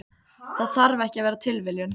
Það þarf ekki að vera tilviljun.